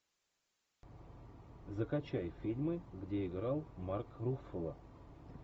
закачай фильмы где играл марк руффало